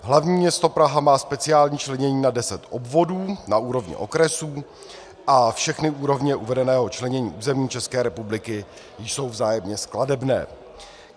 Hlavní město Praha má speciální členění na 10 obvodů na úrovni okresů a všechny úrovně uvedeného členění území České republiky jsou vzájemně skladebné.